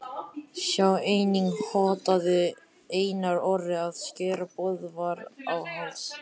Sjá einnig: Hótaði Einar Orri að skera Böðvar á háls?